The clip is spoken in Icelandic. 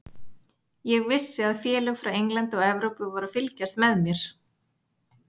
Ég vissi að félög frá Englandi og Evrópu voru að fylgjast með mér.